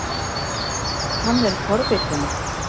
Hann er forvitinn.